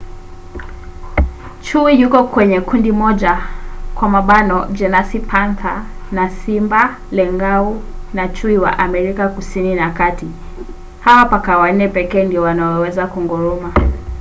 chui yuko kwenye kundi moja jenasi panther na simba lengau na chui wa america ya kusini na kati. hawa paka wanne pekee ndio wanaoweza kunguruma